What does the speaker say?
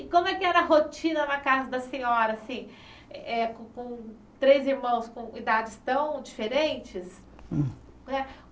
E como é que era a rotina na casa da senhora, assim, eh eh com três irmãos com idades tão diferentes?